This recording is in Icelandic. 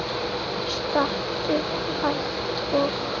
Stattu, hugsa ég.